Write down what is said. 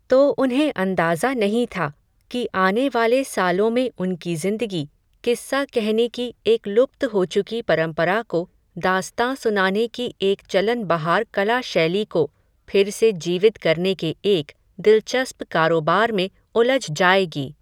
तो उन्हें अंदाज़ा नहीं था, कि आने वाले सालों में उनकी ज़िंदगी, किस्सा कहने की एक लुप्त हो चुकी परम्परा को, दास्ताँ सुनाने की एक चलन बहार कला शैली को, फिर से जीवित करने के एक, दिलचस्प कारोबार में उलझ जायेगी